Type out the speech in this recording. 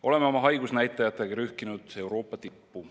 Oleme oma haigusnäitajatega rühkinud Euroopa tippu.